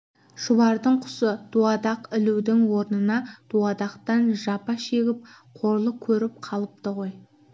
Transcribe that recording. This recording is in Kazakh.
шұбардың құсы дуадақ ілудің орнына дуадақтан жапа шегіп қорлық көріп қалыпты ғой